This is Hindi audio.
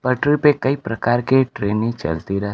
पटरी पे कई प्रकार के ट्रेनें चलती रह--